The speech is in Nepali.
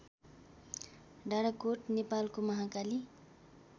डाडाकोत नेपालको महाकाली